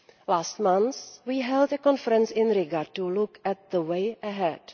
Last month we held a conference in Riga to look at the way ahead.